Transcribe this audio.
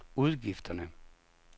udgifterne